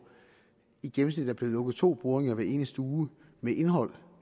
i gennemsnit er blevet lukket to boringer hver eneste uge med indhold